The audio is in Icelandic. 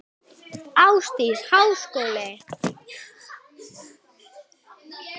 Ásdís: Háskóli?